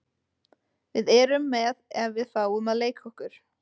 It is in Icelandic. Við erum með ef við fáum að leika okkur.